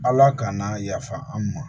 Ala kana yafa an ma